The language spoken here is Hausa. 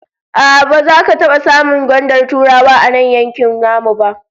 A'a, baza ka taba samun gwandar Turawa a nan yankin namu ba